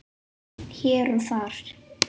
Hér og þar.